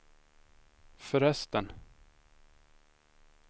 förresten